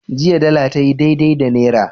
Jiya dala tayi daidai da naira.